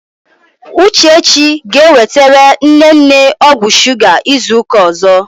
Uchechi ga-ewetere nne nne ọgwụ shuga izu ụka ọzọ.